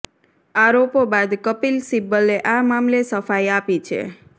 આરોપો બાદ કપિલ સિબ્બલે આ મામલે સફાઈ આપી છે